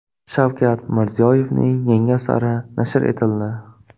Shavkat Mirziyoyevning yangi asari nashr etildi.